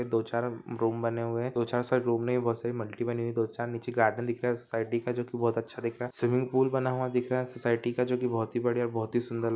दो चार डोम बने हुए है दो चार डोम मे ही बहुत सारी मल्टी बनी हुई है दो चार नीचे गार्डेन दिख रहे है स्विमिंग पूल सोसायटी का जो की बहुत अच्छा दिख रहा है स्विमिंग पूल बना हुआ दिख रहा है सोसायटी का जो की बहुत ही बड़िया बहुत ही सुंदर लग--